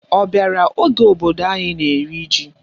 Ọ bịara oge obodo anyị na-eri ji?